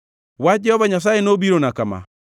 Wach Jehova Nyasaye nobirona kama: